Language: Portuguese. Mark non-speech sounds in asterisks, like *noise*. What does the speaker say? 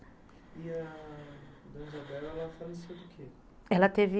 E a Dona Isabel, ela faleceu do quê? ela teve *unintelligible*